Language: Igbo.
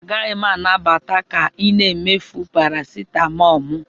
Agaghị m anabata ka ị na-emefu parasitamol m